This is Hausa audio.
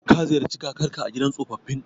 Ka ziyarci kakarka a gidan tsofaffin?